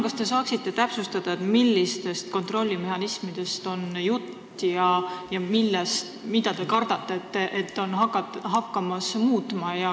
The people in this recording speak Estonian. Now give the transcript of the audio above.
Kas te saate täpsustada, millistest kontrollimehhanismidest on jutt ja mida te kardate, et muutma hakatakse?